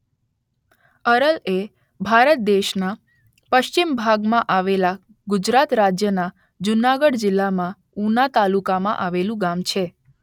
અરલ એ ભારત દેશના પશ્ચિમ ભાગમાં આવેલા ગુજરાત રાજ્યના જૂનાગઢ જિલ્લાના ઉના તાલુકામાં આવેલું ગામ છે.